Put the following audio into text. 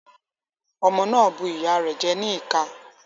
Ọmọ náà bu ìyá rẹ̀ jẹ ní ìka.